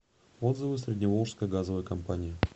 отзывы средневолжская газовая компания